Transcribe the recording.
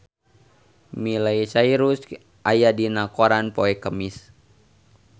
Miley Cyrus aya dina koran poe Kemis